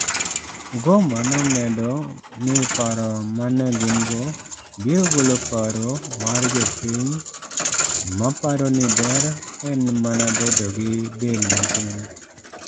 Mugoma nomedo ni paro ma ne gin go biro golo paro mar jopiny ma paro ni ber en mana bedogi del matin.